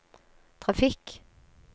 trafikk